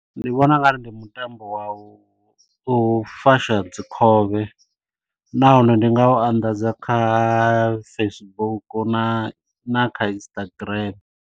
Ndi vhona u nga ri ndi mutambo wa u u fasha dzi khovhe, nahone ndi nga u anḓadza kha Facebook na kha Instagram.